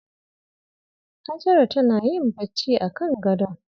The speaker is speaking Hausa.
Hajara tana yin bacci akan gadon.